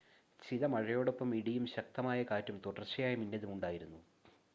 ചില മഴയോടൊപ്പം ഇടിയും ശക്തമായ കാറ്റും തുടർച്ചയായ മിന്നലും ഉണ്ടായിരുന്നു